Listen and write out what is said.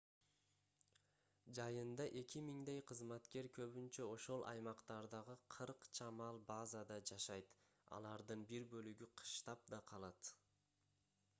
жайында эки миңдей кызматкер көбүнчө ошол аймактардагы кырк чамал базада жашайт алардын бир бөлүгү кыштап да калат